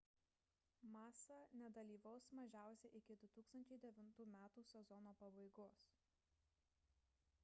massa nedalyvaus mažiausiai iki 2009 m sezono pabaigos